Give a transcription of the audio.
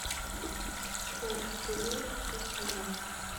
джой раздели шесть на два